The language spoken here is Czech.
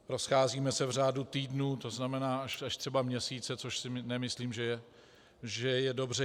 Rozcházíme se v řádu týdnů, to znamená až třeba měsíce, což si nemyslím, že je dobře.